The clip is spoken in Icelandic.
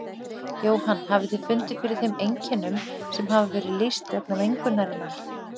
Jóhann: Hafið þið fundið fyrir þeim einkennum sem hafa verið lýst vegna mengunarinnar?